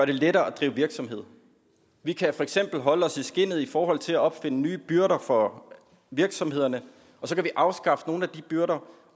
det lettere at drive virksomhed vi kan for eksempel holde os i skindet i forhold til at opfinde nye byrder for virksomhederne og så kan vi afskaffe nogle af de byrder